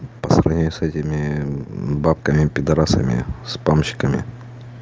по сравнению с этими бабками пидорасами спамщиками